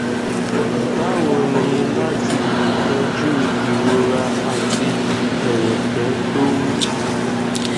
bawo ni lati le toju irora ati ẹrẹkẹ to wu